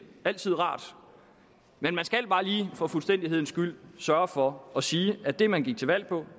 altid rart men man skal bare lige for fuldstændighedens skyld sørge for at sige at det man gik til valg på